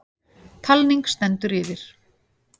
Talning stendur yfir.